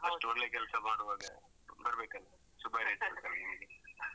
ಅಷ್ಟೊಳ್ಳೆ ಕೆಲ್ಸ ಮಾಡುವಾಗ ಬರ್ಬೇಕಲ್ಲ ಶುಭ .